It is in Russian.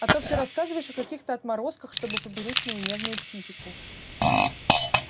а то всё рассказываешь о каких-то отморозках чтобы поберечь мою нежную психику